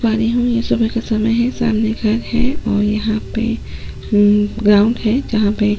पा रही हूं ये सुबह का समय है सामने घर है और यहां पे हम् ग्राउंड है जहां पे --